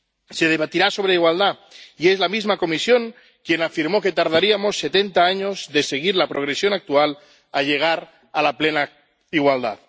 Se debatirá sobre igualdad, y es la misma Comisión quien afirmó que tardaríamos setenta años, de seguir la progresión actual, en llegar a la plena igualdad.